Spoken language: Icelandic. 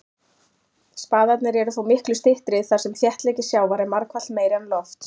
Spaðarnir eru þó miklu styttri þar sem þéttleiki sjávar er margfalt meiri en lofts.